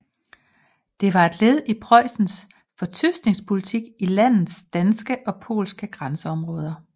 Det var et led i Preussens fortyskningspolitik i landets danske og polske grænseområder